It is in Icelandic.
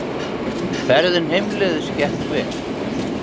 Ferðin heimleiðis gekk vel.